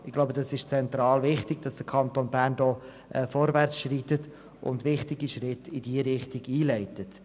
Ich glaube, es ist zentral, dass der Kanton Bern hier vorwärtsschreitet und wichtige Schritte in diese Richtung einleitet.